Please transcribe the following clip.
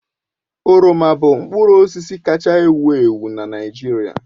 Oroma bụ mkpụrụ osisi kaacha ewu ewu na Naịjirịa